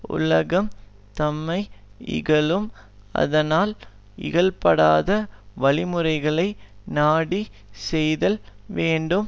உலகம் தம்மை இகழும் ஆதலால் இகழப்படாத வழிமுறைகளை நாடி செய்தல் வேண்டும்